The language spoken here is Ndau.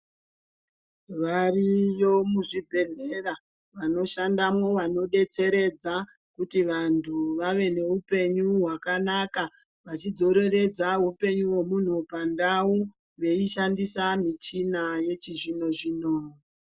Variyo muzvibhedheya vanoshandamwo vanodetseredza kuti vantu vave neupenyu hwakanaka vachidzoreredza upenyu hwemunhu pandau veishandisa michina yechizvino zvino.